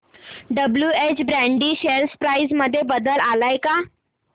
WH Brady share price मध्ये बदल आलाय का